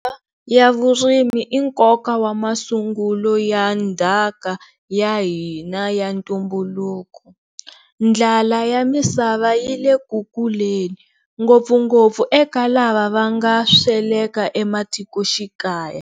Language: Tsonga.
Ya vurimi i nkoka wa masungulo ya ndhaka ya hina ya ntumbuluko. Ndlala ya misava yi le ku kuleni, ngopfungopfu eka lava va nga sweleka ematikoxikaya.